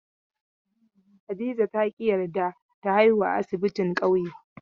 Hadiza ta ƙi yarda ta haihuwa a asibti kauye.